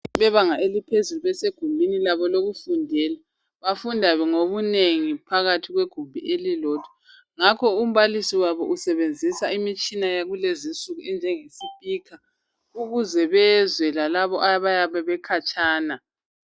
Abebanga eliphezulu besegumbini labo lokufundela. Bafunda ngobunengi phakathi kwegumbi elilodwa, ngakho umbalisi wabo usebenzisa imitshina yakulezi nsuku enjenge speaker ukuze bezwe lalabo abayabe bekhatshana.